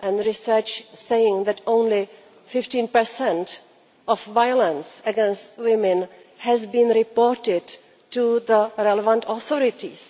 and the research saying that only 15 of violence against women has been reported to the relevant authorities.